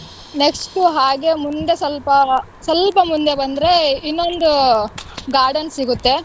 Next ಹಾಗೆ ಮುಂದೆ ಸ್ವಲ್ಪ ಸ್ವಲ್ಪ ಮುಂದೆ ಬಂದ್ರೆ ಇನ್ನೊಂದು garden ಸಿಗುತ್ತೆ.